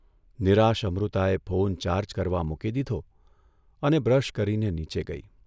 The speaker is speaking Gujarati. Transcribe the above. નિરાશ અમૃતાએ ફોન ચાર્જ કરવા મૂકી દીધો અને બ્રશ કરીને નીચે ગઇ.